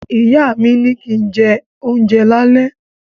Ìyá mi ní kín jẹ́ ohunjẹ lálé